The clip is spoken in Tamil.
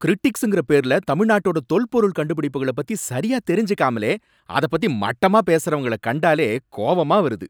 க்ரிடிக்ஸுங்கற பேருல தமிழ்நாட்டோட தொல்பொருள் கண்டுபிடிப்புகள பத்தி சரியா தெரிஞ்சுக்காமலே அத பத்தி மட்டமா பேசுறவங்கள கண்டாலே கோவமா வருது.